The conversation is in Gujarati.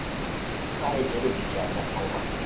હા એ જરૂરી છે આજનાં સમય માં.